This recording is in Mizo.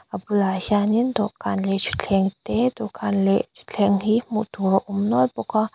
a bulah hianin dawhkan leh thutthleng te dawhkan leh thutthleng hi hmuh tur a awm nual bawka--